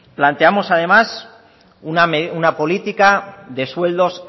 planteamos además una política de sueldos